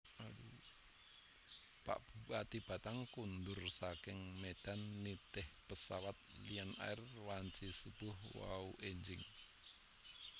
Pak Bupati Batang kondur saking Medan nitih pesawat Lion Air wanci subuh wau enjing